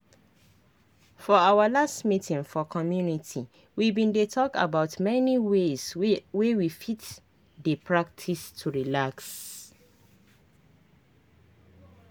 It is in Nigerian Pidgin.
for our last meeting for community we bin dey talk about many ways wey we fit dey practice to relax